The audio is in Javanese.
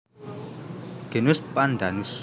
Genus Pandanus